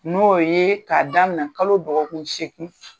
N'o ye k'a daminɛ kalo dɔgɔkun seeki.